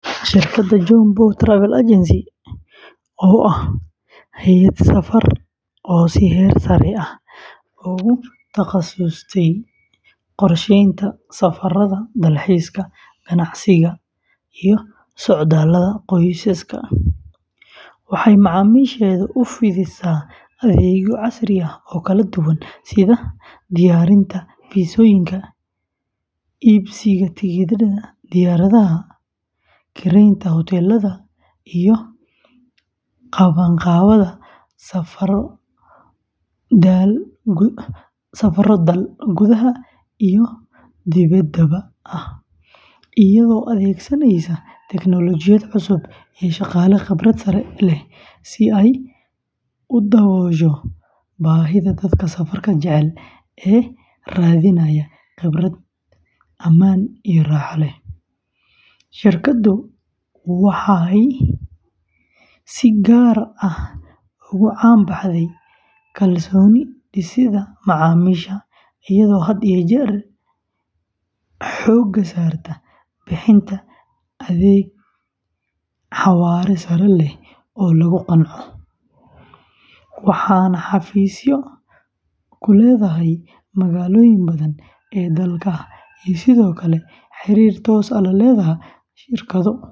Shirkadda Johnbow Travel Agency, oo ah hay'ad safar oo si heer sare ah ugu takhasustay qorsheynta safarrada dalxiiska, ganacsiga, iyo socdaallada qoysaska, waxay macaamiisheeda u fidisaa adeegyo casri ah oo kala duwan sida diyaarinta fiisooyinka, iibsiga tigidhada diyaaradaha, kireynta hoteellada, iyo qabanqaabada safarro dal gudaha iyo dibedda ah, iyadoo adeegsanaysa tiknoolajiyad cusub iyo shaqaale khibrad sare leh si ay u daboosho baahida dadka safarka jecel ee raadinaya khibrad ammaan iyo raaxo leh; shirkaddu waxay si gaar ah ugu caan baxday kalsooni dhisidda macaamiisha, iyadoo had iyo jeer xoogga saarta bixinta adeeg xawaare sare leh oo lagu qanco, waxayna xafiisyo ku leedahay magaalooyin badan oo dalka ah iyo sidoo kale xiriir toos ah la leh shirkado.